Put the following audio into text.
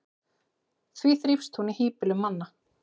því þrífst hún í hýbýlum manna